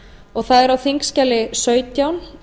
og það mál er á þingskjali sautján